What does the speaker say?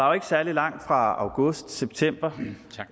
jo ikke særlig langt fra augustseptember